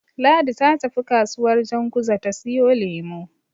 Ladi ta tafi kasuwar Janguza ta siyo lemo.